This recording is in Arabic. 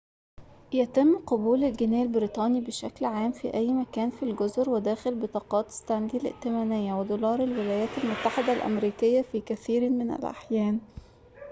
يتم قبول الجنيه البريطاني بشكل عام في أي مكان في الجزر وداخل بطاقات ستانلي الائتمانية ودولار الولايات المتحدة الأمريكية في كثير من الأحيان